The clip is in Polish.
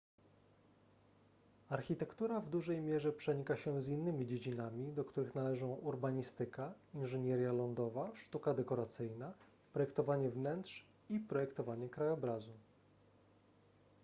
architektura w dużej mierze przenika się z innymi dziedzinami do których należą urbanistyka inżynieria lądowa sztuka dekoracyjna projektowanie wnętrz i projektowanie krajobrazu